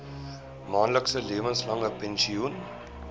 maandelikse lewenslange pensioen